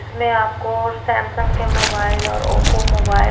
इसमें आपको सैमसंग के मोबाइल और ओप्पो मोबाइल --